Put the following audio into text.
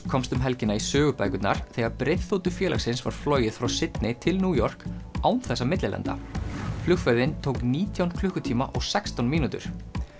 komst um helgina í sögubækurnar þegar breiðþotu félagsins var flogið frá til New York án þess að millilenda flugferðin tók nítján klukkutíma og sextán mínútur